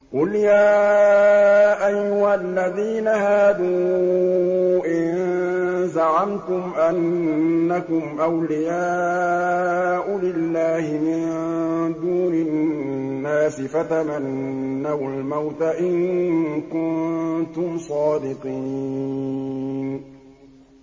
قُلْ يَا أَيُّهَا الَّذِينَ هَادُوا إِن زَعَمْتُمْ أَنَّكُمْ أَوْلِيَاءُ لِلَّهِ مِن دُونِ النَّاسِ فَتَمَنَّوُا الْمَوْتَ إِن كُنتُمْ صَادِقِينَ